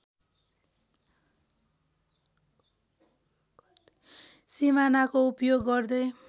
सिमानाको उपयोग गर्दै